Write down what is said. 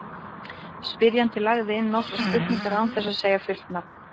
Spyrjandi lagði inn nokkrar spurningar án þess að segja fullt nafn.